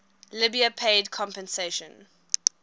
libya paid compensation